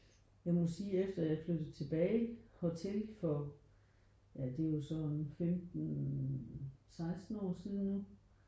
Jeg må sige efter at jeg er flyttet tilbage hertil for ja det er jo så en 15 16 år siden